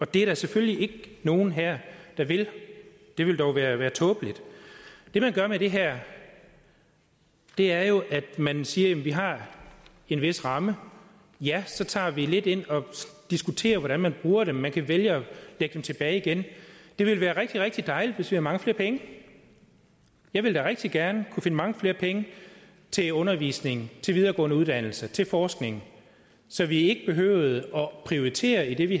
det er der selvfølgelig ikke nogen her der vil det ville da være være tåbeligt det man gør med det her er jo at man siger at vi har en vis ramme så tager vi lidt ind og diskuterer hvordan man bruger dem man kan vælge at lægge dem tilbage igen det ville være rigtig rigtig dejligt hvis vi havde mange flere penge jeg ville da rigtig gerne kunne finde mange flere penge til undervisning til videregående uddannelser til forskning så vi ikke behøvede at prioritere i det vi